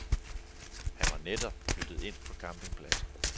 Han var netop flyttet ind på campingpladsen.